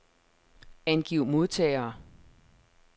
Angiv modtagere.